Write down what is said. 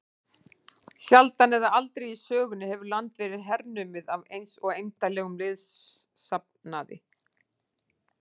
Sjaldan eða aldrei í sögunni hefur land verið hernumið af eins eymdarlegum liðsafnaði.